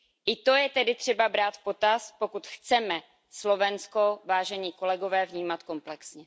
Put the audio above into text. I to je tedy třeba brát v potaz, pokud chceme Slovensko, vážení kolegové, vnímat komplexně.